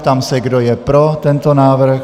Ptám se, kdo je pro tento návrh.